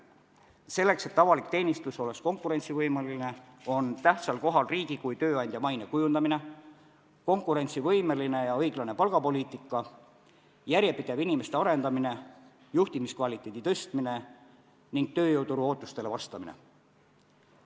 Selleks, et avalik teenistus oleks konkurentsivõimeline, on tähtsal kohal riigi kui tööandja maine kujundamine, konkurentsivõimeline ja õiglane palgapoliitika, järjepidev inimeste arendamine, juhtimiskvaliteedi tõstmine ning tööjõuturu ootustele vastamine.